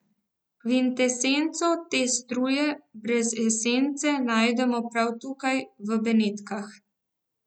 Kvintesenco te struje brez esence najdemo prav tukaj, v Benetkah.